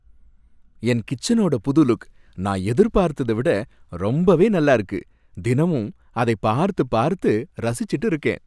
என் கிச்சனோட புது லுக் நான் எதிர்பார்த்தத விட ரொம்பவே நல்லா இருக்கு, தினமும் அதைப் பார்த்து பார்த்து ரசிச்சுட்டு இருக்கேன்.